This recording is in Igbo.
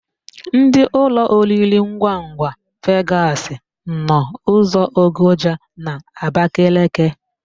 Ndị ụlọoriringwangwa Vegasị nọ ụzọ Ogoja n'Abakeleke.